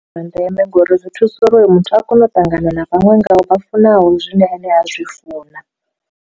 Ndi zwa ndeme ngori zwi thusa uri hoyo muthu a kone u ṱangana na vhaṅwe ngayo vha funaho zwine ane a zwi funa.